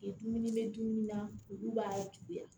Dumuni bɛ dumuni na olu b'a juguya